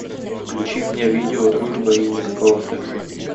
включи мне видео дружба и никакого секса